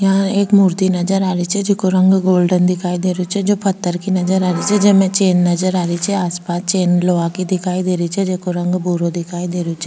यहाँ एक मूर्ति नजर आ री छे जेको रंग गोल्डन दिखाई दे रो छे जो पत्थर की नजर आ री छे जेमे चैन नजर आ री छे आस पास चैन लोहा की दिखाई दे रही छे जेको रंग भूरो दिखाई दे रो छे।